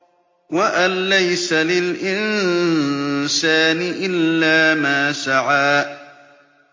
وَأَن لَّيْسَ لِلْإِنسَانِ إِلَّا مَا سَعَىٰ